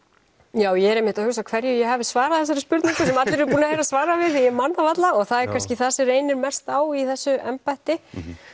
já ég er einmitt að hugsa hverju ég hafi svarað við þessari spurningu sem allir eru búnir að heyra svarið við ég man það varla og það er kannski það sem reynir mest á í þessu embætti